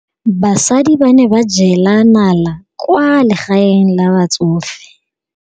Basadi ba ne ba jela nala kwaa legaeng la batsofe.